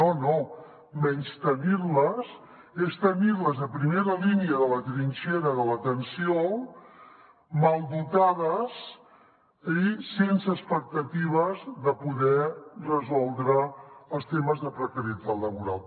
no no menystenir les és tenir les a primera línia de la trinxera de l’atenció mal dotades i sense expectatives de poder resoldre els temes de precarietat laboral